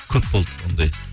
көп болды ондай